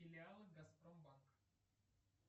филиалы газпромбанк